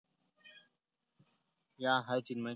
या, hi चिन्मय